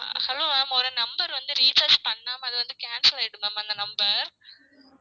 Hello ma'am ஒரு number வந்து recharge பண்ணாம அது வந்து cancel ஆயிட்டு ma'am அந்த number